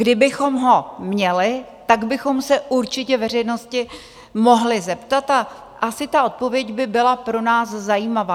Kdybychom ho měli, tak bychom se určitě veřejnosti mohli zeptat a asi ta odpověď by byla pro nás zajímavá.